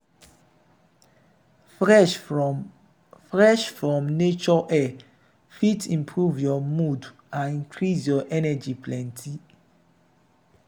fresh from fresh from nature air fit improve your mood and increase your energy plenty.